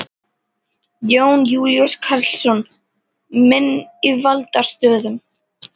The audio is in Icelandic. Jón Júlíus Karlsson: Menn í valdastöðum?